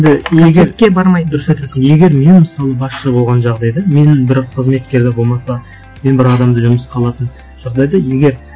дұрыс айтасың егер мен мысалы басшы болған жағдайда менің бір қызметкерді болмаса мен бір адамды жұмысқа алатын жағдайда егер